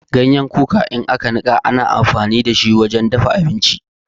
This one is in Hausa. Ganyen kuka in aka nika ana amfani da shi wajen dafa abinci.